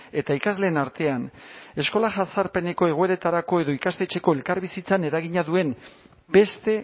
eta ikasleen artean eskola jazarpeneko egoeretarako edo ikastetxeko elkarbizitzan eragina duen beste